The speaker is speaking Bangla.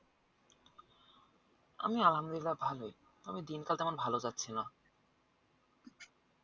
আমি আলহামদুলিল্লাহ ভালোই আমি দিনকালটা আমার ভালো যাচ্ছে না